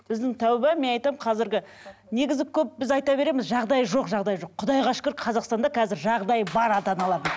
біздің тәубе мен айтамын қазіргі негізі көп біз айта береміз жағдайы жоқ жағдайы жоқ құдайға шүкір қазақстанда қазір жағдайы бар ата аналардың